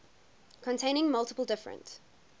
containing multiple different